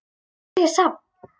Nú er hér safn.